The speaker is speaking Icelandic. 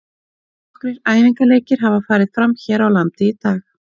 Nokkrir æfingaleikir hafa farið fram hér á landi í dag.